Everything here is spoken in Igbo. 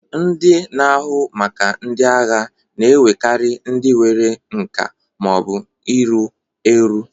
Ndị otu na-ahụ maka ndị agha na-ewekarị ndị nwere nka ma ọ bụ iru eru.